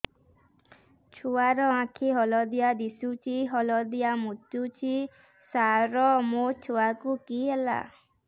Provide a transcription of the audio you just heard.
ଛୁଆ ର ଆଖି ହଳଦିଆ ଦିଶୁଛି ହଳଦିଆ ମୁତୁଛି ସାର ମୋ ଛୁଆକୁ କି ହେଲା